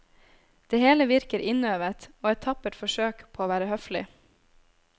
Det hele virker innøvet, og et tappert forsøk på å være høflig.